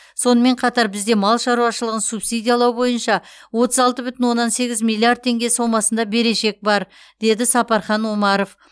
сонымен қатар бізде мал шаруашылығын субсидиялау бойынша отыз алты бүтін оннан сегіз миллиард теңге сомасында берешек бар деді сапархан омаров